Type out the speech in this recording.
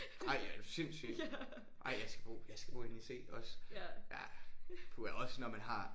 Ej er du sindssyg ej jeg skal bo jeg skal bo inde i C også. Ja. Puha også når man har